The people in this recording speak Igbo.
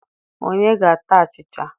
Onye ga-ata achịcha